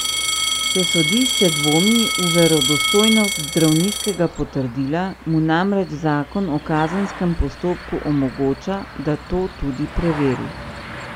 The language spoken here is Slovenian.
Če sodišče dvomi v verodostojnost zdravniškega potrdila, mu namreč zakon o kazenskem postopku omogoča, da to tudi preveri.